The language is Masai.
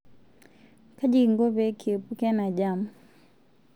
Kaji kingo pee kiepuka ena jam?